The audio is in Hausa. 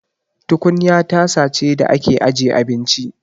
Tukunya tasa ce da ake aje abinci.